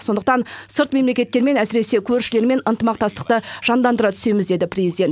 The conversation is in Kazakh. сондықтан сырт мемлекеттермен әсіресе көршілермен ынтымақтастықты жандандыра түсеміз деді президент